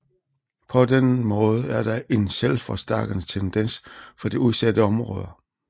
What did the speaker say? På denne måde er der en selvforstærkende tendens for de udsatte områder